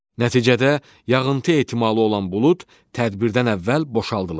Nəticədə yağıntı ehtimalı olan bulud tədbirdən əvvəl boşaldılır.